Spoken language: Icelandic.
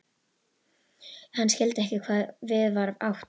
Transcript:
Hann skildi ekki hvað við var átt.